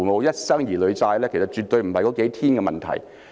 一生兒女債，其實絕對不是那數天的問題。